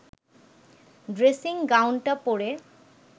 dressing গাউনটা পরে